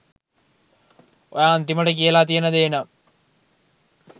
ඔයා අන්තිමට කියලා තියෙන දේ නම්